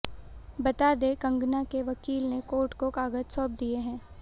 बता दें कंगना के वकील ने कोर्ट को कागज सौंप दिए हैं